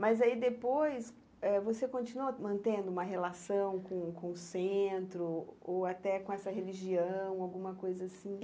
Mas aí depois eh, você continua mantendo uma relação com com o centro ou até com essa religião, alguma coisa assim?